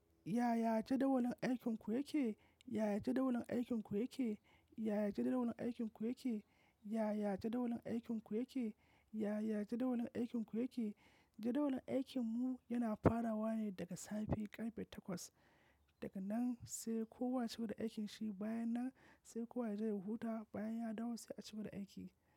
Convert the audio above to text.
Yaya jadawalin aikinku yake? Yaya jadawalin aikinku yake? Yaya jadawalin aikinku yake? Yaya jadawalin aikinku yake? Yaya jadawalin aikinku yake? Jadawalin aikinmu yana farawa ne daga safe karfe takwas. Daga nan sai kowa ya ce gaba da aikinsa, bayan nan sai kowa ya je ya yi huhu, bayan ya dawo sai a ce gaba da aiki.